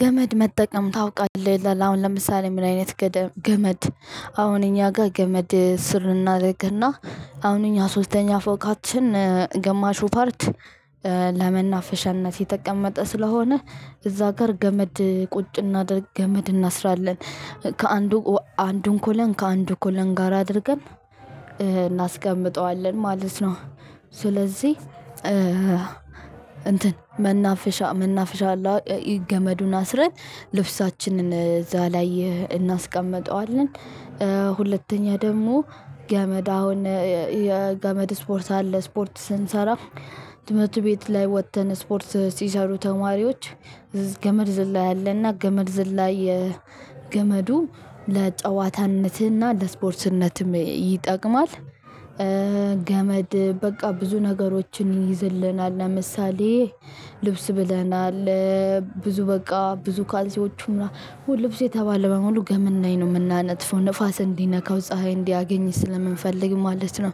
ገመድ መጠቀም ታውቃልህ ይላል አሁን ለምሳሌ ምን አይነት ገመድ? አሁን እኛ ጋ ገመድ ስር እናረግ እና አሁን እኛ ሶስተኛ ፎቃችን ግማሹ ፓርት። ለመናፈሻነት የተቀመጠ ስለሆነ እዛ ጋር ገመድ ቁጭ እናድርግ ገመድ እናስራለን ከአንዱ አንዱን ኮለን ከአንዱ ኮለን ጋር አድርገን እናስቀምጠዋለን ማለት ነው። ስለዚህ እንትን መናፍሻ መናፍሻ አለው ገመዱን አስረን ልብሳችንን እዛ ላይ እናስቀምጠዋለን። ሁለተኛ ደግሞ ገመድ አሁን የገመድ ስፖርት አለ ስፖርት ስንሰራ ትምህርት ቤት ላይ ወጥተን ስፖርት ሲሰሩ ተማሪወች ገመድ ዝላይ አለና ገመድ ዝላይ የገመዱ ለጨዋታነትና ለስፖርትነትም ይጠቅማል። ገመድ በቃ ብዙ ነገሮችን ይይዝልናል ለምሳሌ ልብስ ብለናል። ብዙ በቃ ብዙ ካንሲዎቹም ምናምን ልብስ የተባለ በሙሉ ገመድ ላይ ነው የምናነጥፈው ንፋስ እንዲነካው ፀሀይ እንዲያገኝ ስለምንፈልግ ማለት ነው።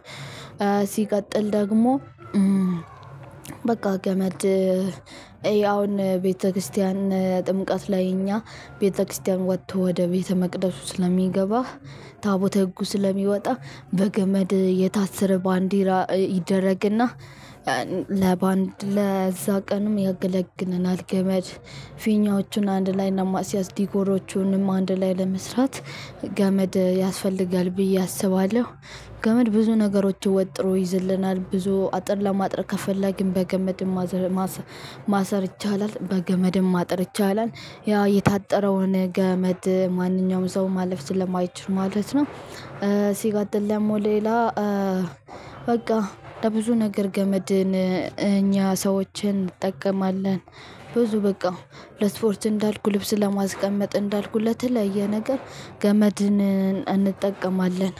ሲቀጥል ደግሞ በቃ ገመድ አሁን ቤተክርስቲያን ጥምቀት ላይ እኛ ቤተክርስቲያን ወጥቶ ወደ ቤተመቅደሱ ስለሚገባ ታቦተ ህጉ ስለሚወጣ በገመድ የታሰረ ባንዲራ ይደረግና ለባንድ ለዛ ቀንም ያገለግለናል። ገመድ ፊኛዎቹን አንድ ላይ ለማስያዝ ዲኮሮቹንም አንድ ላይ ለመስራት ገመድ ያስፈልጋል ብዬ አስባለሁ። ገመድ ብዙ ነገሮችን ወጥሮ ይዝልናል ብዙ አጥር ለማጠር ከፈለግን በገመድም ማሰር ማሰር ይቻላል በገመድም ማጠር ይቻላል። ያ የታጠረውን ገመድ ማንኛውም ሰው ማለፍ ስለማይችል ማለት ነው። ሲቀጥል ደግሞ ሌላ በቃ ለብዙ ነገር ገመድን እኛ ሰዎች እንጠቀማለን። ብዙ በቃ ለስፖርት እንዳልኩ ልብስ ለማስቀመጥ እንዳልኩ ለተለያየ ነገር ገመድን እንጠቀማለን።